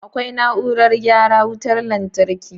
Akwai na'urorin gyara wutar lantarki.